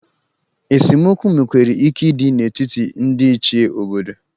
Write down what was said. Esemokwu nwekwara ike ịdị n'etiti ndị Ichie obodo.